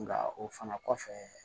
Nka o fana kɔfɛ